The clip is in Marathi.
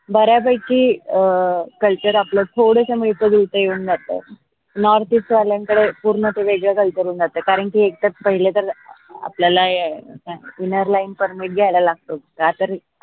बऱ्या पैकी अं culture आपलं थोडस मिळत जुळत येऊन जात northeast वाल्यांकडे पूर्ण ते वेगळं culture होऊन जात कारन की, एकत पहिले तर आपल्याला innerlinepermit घ्यायला लागतो